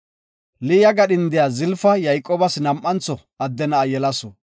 Liya gadhindiya Zalafa Yayqoobas nam7antho adde na7a yelasu.